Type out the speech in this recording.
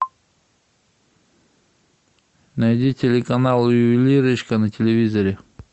найди телеканал ювелирочка на телевизоре